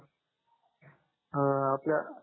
अं आपल्या